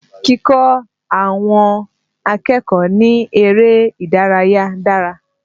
Kíkọ́ àwọn akẹ́kọ̀ọ́ ní eré ìdárayà dára